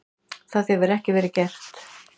Það hefði ekki verið gert.